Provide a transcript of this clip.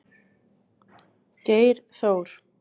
Geir Þór.